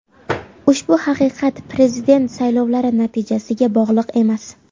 Ushbu haqiqat prezident saylovlari natijasiga bog‘liq emas.